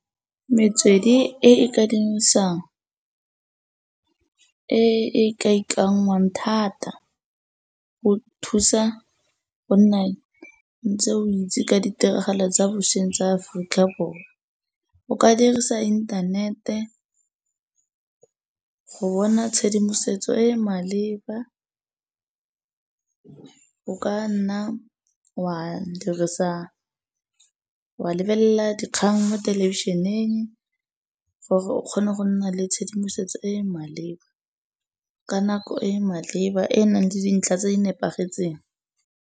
Metswedi e ka e e ka ikanngwang thata go thusa go nna ntse o itse ka ditiragalo tsa bosweng tsa Aforika Borwa. O ka dirisa inthanete go bona tshedimosetso e e maleba o ka nna wa dirisa, wa lebelela dikgang mo thelebišeneng gore o kgone go nna le tshedimosetso e e maleba ka nako e e maleba e e nang le dintlha tse di nepagetseng.